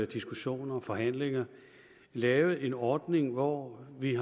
diskussioner og forhandlinger lavet en ordning hvor vi